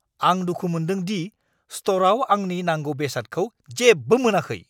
आं दुखु मोनदों दि स्ट'रआव आंनि नांगौ बेसादखौ जेबो मोनाखै।